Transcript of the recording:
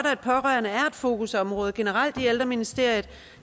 at pårørende er et fokusområde generelt i ældreministeriet